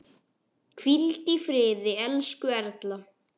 Hvíldu í friði, elsku Erla.